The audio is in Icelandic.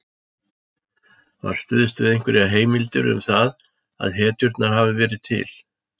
Var stuðst við einhverjar heimildir um það að hetjurnar hafi verið til?